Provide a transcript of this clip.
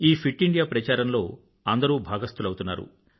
ఈ fit India ప్రచారంలో అందరూ భాగస్తులౌతున్నారు